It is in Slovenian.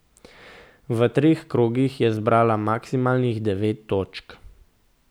V treh krogih je zbrala maksimalnih devet točk.